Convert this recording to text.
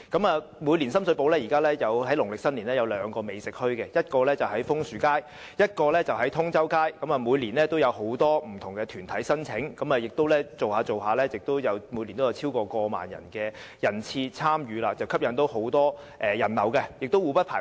現時，深水埗每年也會於農曆新年舉辦兩個美食墟市，一個在楓樹街，另一個則在通州街，每年也有很多不同團體申請，漸漸下來，每年也會有超過1萬人次參與，吸引很多人流，而且兩者互不排斥。